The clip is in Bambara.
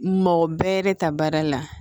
Mɔgɔ bɛɛ de ta baara la